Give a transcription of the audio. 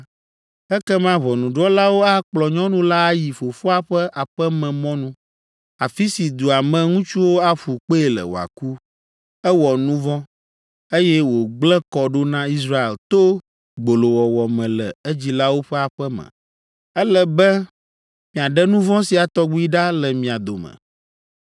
ekema ʋɔnudrɔ̃lawo akplɔ nyɔnu la ayi fofoa ƒe aƒememɔnu, afi si dua me ŋutsuwo aƒu kpee le wòaku. Ewɔ nu vɔ̃, eye wògblẽ kɔ ɖo na Israel to gbolowɔwɔ me le edzilawo ƒe aƒe me. Ele be miaɖe nu vɔ̃ sia tɔgbi ɖa le mia dome.